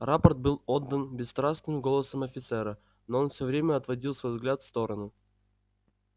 рапорт был отдан бесстрастным голосом офицера но он всё время отводил свой взгляд в сторону